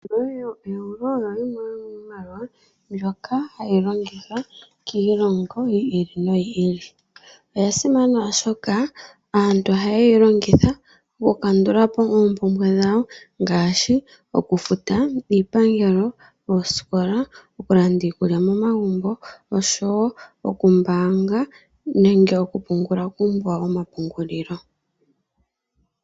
Oeuro oyo yimwe yomiimaliwa mbyoka hayi longithwa kiilongo yi ili noyi ili. Oya simana, oshoka aantu ohaya ye yi longitha okukandula po oompumbwe dhawo ngaashi okufuta iipangelo, oosikola, okulanda iikulya momagumbo oshowo okumbaanga nenge okupungula kuumbo wawo womapungulilo.